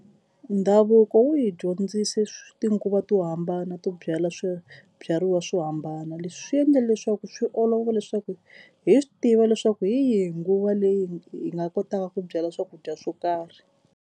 Ndhavuko wu hi dyondzise tinguva to hambana to byala swibyariwa swo hambana. Leswi swi endle leswaku swi olova leswaku hi swi tiva leswaku hi yihi nguva leyi hi nga kotaka ku byala swakudya swo karhi.